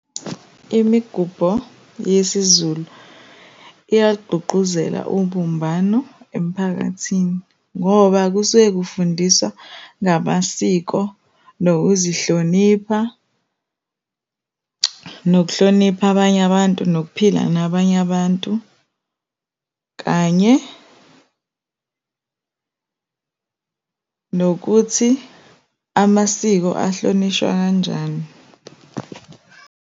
Imigubho yesiZulu iyalugqugquzela ubumbano emphakathini, ngoba kusuke kufundiswa ngamasiko, nokuzihlonipha, nokuhlonipha abanye abantu, nokuphila nabanye abantu, kanye nokuthi amasiko ahlonishwa kanjani.